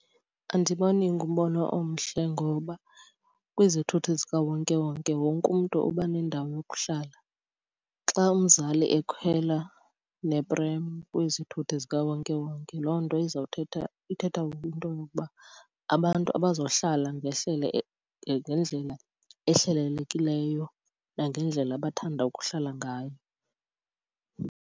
Andiboni ingumbono omhle ngoba kwizithuthi zikawonkewonke wonke umntu uba nendawo yokuhlala. Xa umzali ekhwela neprem kwizithuthi zikawonkewonke loo nto izawuthetha, ithetha kwinto yokuba abantu abazohlala ngendlela ehlelelekileyo nangendlela abathanda ukuhlala ngayo.